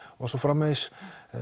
og svo framvegis